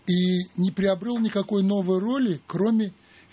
и не приобрёл никакой новый роли кроме